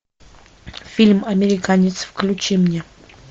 фильм американец включи мне